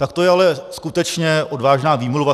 Tak to je ale skutečně odvážná výmluva.